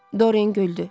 Doryan güldü.